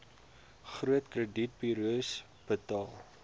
groot kredietburos betaal